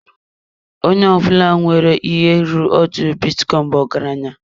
Onye ọbụla nwere ihe ruru otu bitcoin bụ ọgaranya.